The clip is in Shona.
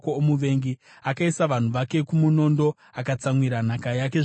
Akaisa vanhu vake kumunondo; akatsamwira nhaka yake zvikuru kwazvo.